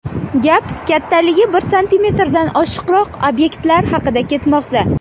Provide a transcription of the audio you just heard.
Gap kattaligi bir santimetrdan oshiqroq obyektlar haqida ketmoqda.